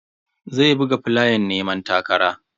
Zai buga flayan neman takara.